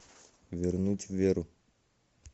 вернуть веру